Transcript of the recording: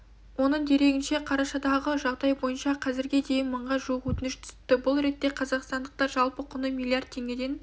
оның дерегінше қарашадағы жағдай бойынша қазірге дейін мыңға жуық өтініш түсіпті бұл ретте қазақстандықтар жалпы құны миллиард теңгеден